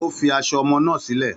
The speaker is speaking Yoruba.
Ó fi aṣọ ọmọ náà sílẹ̀.